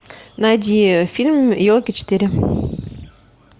найди фильм елки четыре